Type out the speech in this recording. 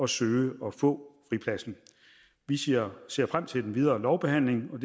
søge om og få fripladsen vi ser ser frem til den videre lovbehandling og